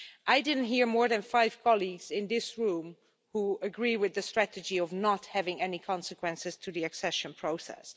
I didn't hear more than five colleagues in this room who agree with the strategy of not having any consequences to the accession process.